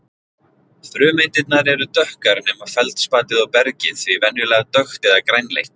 Frumsteindirnar eru dökkar nema feldspatið og bergið því venjulega dökkt eða grænleitt.